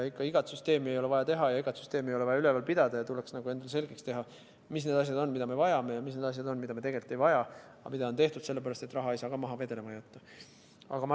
Igat süsteemi ei ole vaja teha ja igat süsteemi ei ole vaja üleval pidada ning tuleks endale selgeks teha, mis need asjad on, mida me vajame, ja mis need asjad on, mida me tegelikult ei vaja, aga mida on tehtud sellepärast, et raha ei saa maha vedelema jätta.